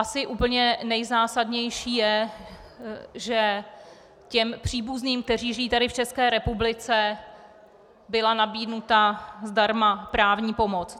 Asi úplně nejzásadnější je, že těm příbuzným, kteří žijí tady v České republice, byla nabídnuta zdarma právní pomoc.